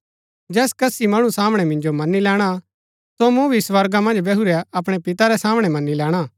जैस कसी मणु सामणै मिन्जो मनी लैणा सो मूँ भी स्वर्गा मन्ज बैहुरै अपणै पिते रै सामणै मनी लैणा